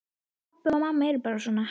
Pabbi og mamma eru bara svona.